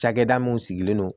Cakɛda mun sigilen don